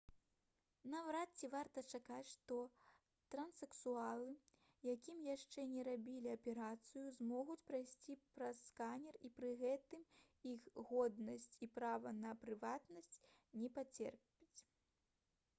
наўрад ці варта чакаць што транссексуалы якім яшчэ не рабілі аперацыю змогуць прайсці праз сканер і пры гэтым іх годнасць і права на прыватнасць не пацерпяць